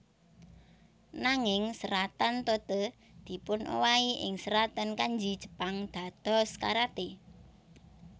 Nanging seratan Tote dipunowahi ing seratan Kanji Jepang dados karaté